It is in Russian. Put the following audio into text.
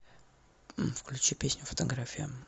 включи песню фотография